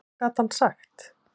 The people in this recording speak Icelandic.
Hvað gat hann sagt?